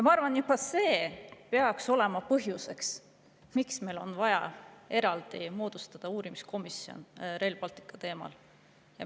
Ma arvan, et juba see peaks olema põhjuseks, miks meil on vaja moodustada eraldi uurimiskomisjon Rail Balticu teemal.